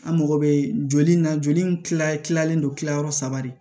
An mago bɛ joli na joli in tila tilalen don kilayɔrɔ saba de